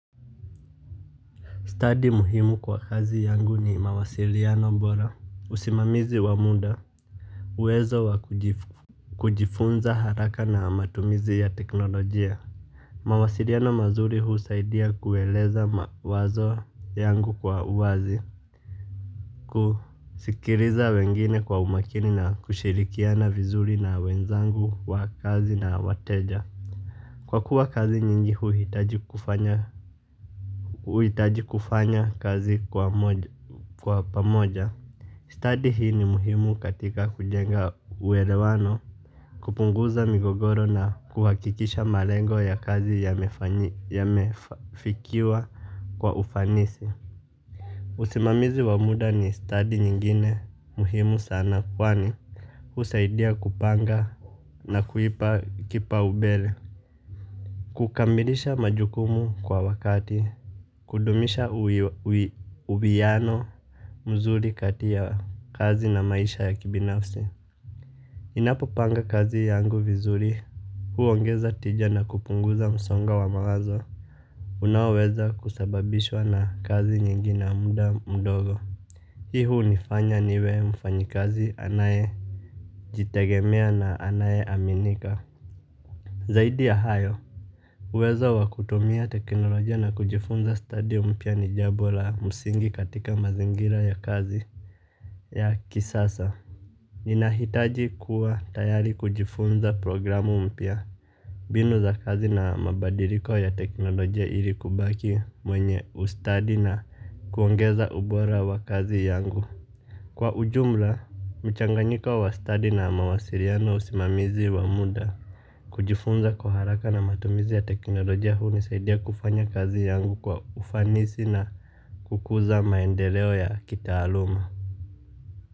Study muhimu kwa kazi yangu ni mawasiliano bora. Usimamizi wa muda. Uwezo wa kujifunza haraka na matumizi ya teknolojia. Mawasiliano mazuri husaidia kueleza mawazo yangu kwa uwazi. Kusikiliza wengine kwa umakini na kushirikiana vizuri na wenzangu wa kazi na wateja. Kwa kuwa kazi nyingi huhitaji kufanya kazi kwa pamoja. Stadi hii ni muhimu katika kujenga uelewano. Kupunguza migogoro na kuhakikisha malengo ya kazi yamefikiwa kwa ufanisi. Usimamizi wa muda ni stadi nyingine muhimu sana kwani husaidia kupanga na kuipa kipaumbele. Kukamilisha majukumu kwa wakati. Kudumisha uwiano mzuri kati ya kazi na maisha ya kibinafsi ninapopanga kazi yangu vizuri. Huongeza tija na kupunguza msongo wa mawazo unaoweza kusababishwa na kazi nyingi na muda mdogo. Hii hunifanya niwe mfanyikazi anayejitegemea na anayeaminika. Zaidi ya hayo uwezo wa kutumia teknolojia na kujifunza stadi mpya ni jambo la msingi katika mazingira ya kazi ya kisasa. Ninahitaji kuwa tayari kujifunza programu mpya mbinu za kazi na mabadiliko ya teknolojia ili kubaki mwenye ustadi na kuongeza ubora wa kazi yangu. Kwa ujumla, mchanganyiko wa study na mawasiriano usimamizi wa muda. Kujifunza kwa haraka na matumizi ya teknolojia hunisaidia kufanya kazi yangu kwa ufanisi na kukuza maendeleo ya kitaaluma.